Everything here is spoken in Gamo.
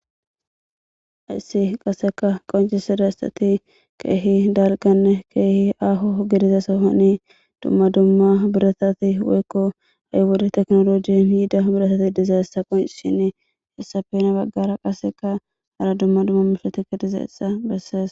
Hayssi qassika qonccissezayssathi keehi dalgganne keehi aaho gidiza sohoni dumma dumma birathathi woykko ha wode teknooloojeen giida birathathi dizayssa qonccissishiini hayssape guye baggara qassikka hara dumma dumma meeshshathi dizayssa bessees.